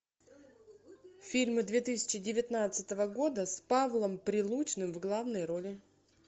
фильмы две тысячи девятнадцатого года с павлом прилучным в главной роли